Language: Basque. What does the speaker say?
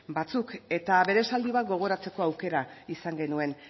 batzuk eta bere esaldi bat gogoratzeko aukera izan genuen